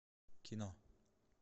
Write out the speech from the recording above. кино